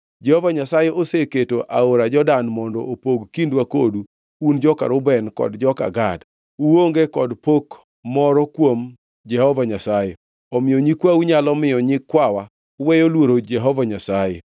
Jehova Nyasaye oseketo aora Jordan mondo opog kindwa kodu, un joka Reuben kod joka Gad! Uonge kod pok moro kuom Jehova Nyasaye.’ Omiyo nyikwau nyalo miyo nyikwawa weyo luoro Jehova Nyasaye.